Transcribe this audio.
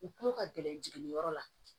U kulo ka gɛlɛn jigin yɔrɔ la